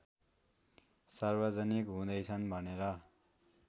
सार्वजनिक हुँदैछन् भनेर